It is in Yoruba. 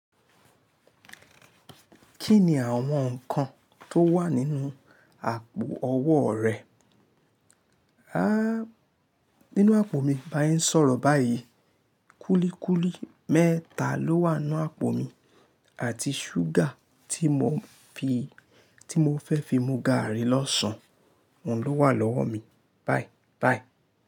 Kí ni àwọn nǹkan tó wà nínú àpò ọwọ́ rẹ? Háá! Nínú àpò mi, bá se n sọ̀rọ̀ báyìí, kúlíkúlí mẹ́ta ló wà nínú àpò mi àti ṣúgà tí mò ń fi, tí mò fẹ́ fi mu gààrí lọ́sàn-án ló wà lọ́wọ́ mi. Bye bye.